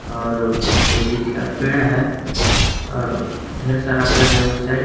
और कोई चीज का पेड़ है और ढेर सारा पेड़ है उस साइड --